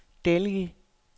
Delhi